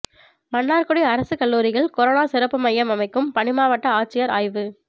மன்னாா்குடி அரசுக் கல்லூரியில் கரோனா சிறப்பு மையம் அமைக்கும் பணிமாவட்ட ஆட்சியா் ஆய்வு